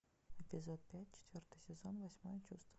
эпизод пять четвертый сезон восьмое чувство